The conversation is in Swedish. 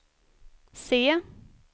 se